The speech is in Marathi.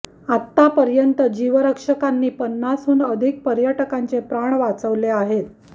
आता पर्यंत जीवरक्षकांनी पन्नासहून अधिक पर्यटकांचे प्राण वाचवले आहेत